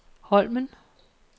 Holmen